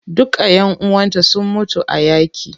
Duka ƴan uwanta sun mutu a yaƙi.